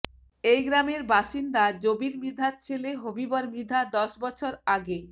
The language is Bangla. এই গ্রামের বাসিন্দা জবির মৃধার ছেলে হবিবর মৃধা দশ বছর আগে